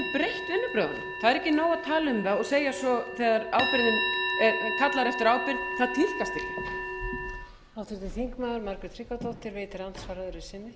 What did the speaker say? sem er núna við stjórnvölinn það getur breytt vinnubrögðunum það er ekki nóg að tala um það og segja svo þegar ábyrgðin er kallað eftir ábyrgð það tíðkast ekki